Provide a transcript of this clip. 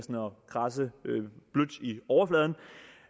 kradse blødt i overfladen